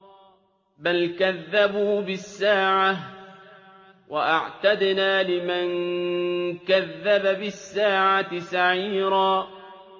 بَلْ كَذَّبُوا بِالسَّاعَةِ ۖ وَأَعْتَدْنَا لِمَن كَذَّبَ بِالسَّاعَةِ سَعِيرًا